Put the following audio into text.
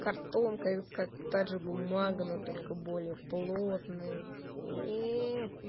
картонка и вот как та же бумага но только более плотная иии